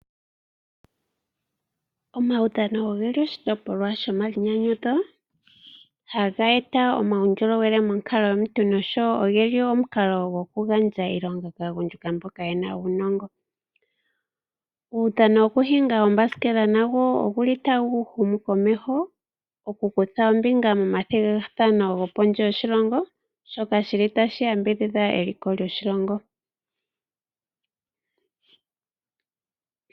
Omawudhano ogeli oshitopolwa sho mayinyanyudho haga eta uundjolowele monkalamwenyo yomuntu noshowo ogeli omukalo goku gandja iilonga kaagundjuka mboka yena uunongo .Uudhano wokuhinga oombasikela nago oguli tagu humu komeho ,okukutha ombinga momathigathano go pondje yoshilongo shoka shili tashi yambidhidha eliko lyoshiwambo.